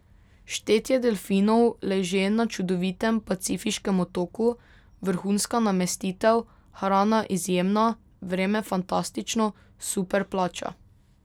Štetje delfinov leže na čudovitem pacifiškem otoku, vrhunska namestitev, hrana izjemna, vreme fantastično, super plača.